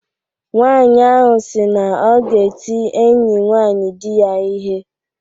Nwanyị ahụ sị na ọ ga-eti enyi nwaanyi di ya ihe.